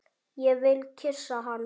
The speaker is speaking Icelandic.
Ég vil kyssa hana.